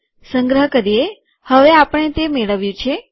સંગ્રહ કરીએ હવે આપણે તે મેળવ્યું છે